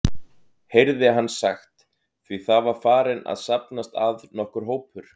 heyrði hann sagt, því það var farinn að safnast að nokkur hópur.